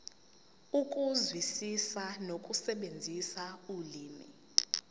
ukuzwisisa nokusebenzisa ulimi